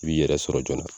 I b'i yɛrɛ sɔrɔ joona